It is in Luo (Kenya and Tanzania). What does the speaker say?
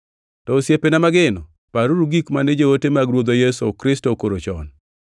To osiepena mageno, paruru gik mane joote mag Ruodhwa Yesu Kristo okoro chon.